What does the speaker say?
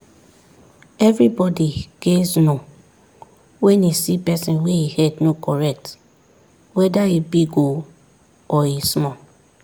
everybody gays know when e see person wey e head no correct weda e big o or e small